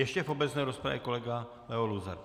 Ještě v obecné rozpravě kolega Leo Luzar.